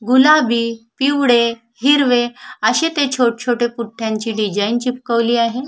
गुलाबी पिवळे हिरवे अशे छोट छोटे डिझाईन चे चिपकवली आहे.